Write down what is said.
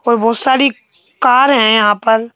और बहुत सारी कार है यहां पर।